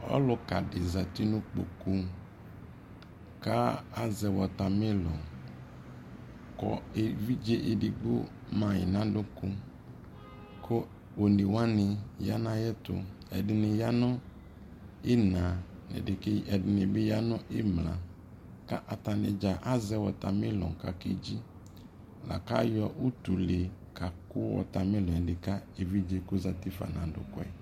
ɔluka di zati no ikpoku ko azɛ watamelon ko evidze edigbo ma yi no adoko ko one wani ya no ayɛto edi ni ya no ina edini bi ya no imla ko atadza azɛ watamelon kedzi la ko ayɔ utule kaku watamelon edi ka evidze ku ozati fa no adoko yɛ